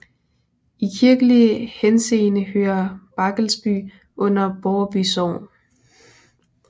I kirkelig henseende hører Barkelsby under Borreby Sogn